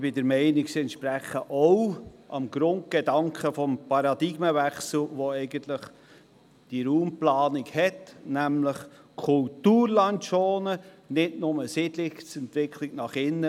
Sie entspr echen ebenfalls dem Grundgedanken des Paradigmenwechsels der Raumplanung, nämlich Schonen des Kulturlandes und nicht nur Siedlungsentwicklung nach innen.